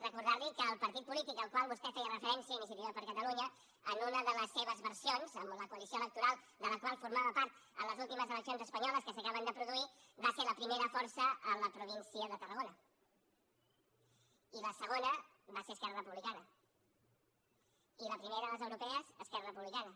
recordar li que el partit polític al qual vostè feia referència iniciativa per catalunya en una de les seves versions amb la coalició electoral de la qual formava part en les últimes eleccions espanyoles que s’acaben de produir va ser la primera força a la província de tarragona i la segona va ser esquerra republicana i la primera a les europees esquerra republicana